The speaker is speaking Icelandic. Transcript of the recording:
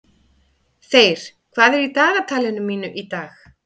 Þeyr, hvað er í dagatalinu mínu í dag?